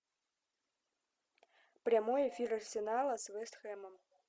прямой эфир арсенала с вест хэмом